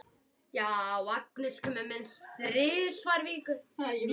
Agnes kemur minnst þrisvar í viku.